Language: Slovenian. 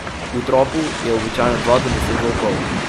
V tropu je običajno dva do deset volkov.